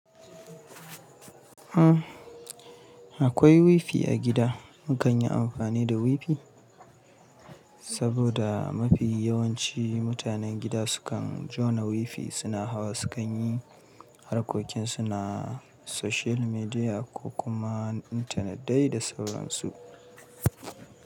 Akwai wifi a gida. Mu kan yi amfani da wifi saboda mafi yawanci mutanen gida sukan jona wifi suna hawa, sukan yi harkokin su na social media ko kuma intanet dai da sauran su.